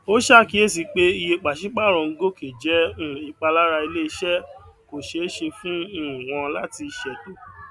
ó ṣàkíyèsí pé iye pàṣípàrọ ń gòkè jẹ um ìpalára ilé iṣẹ kò ṣeé ṣe fún um wọn láti um ṣètò